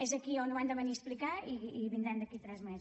és aquí on ho han de venir a explicar i vindran d’aquí a tres mesos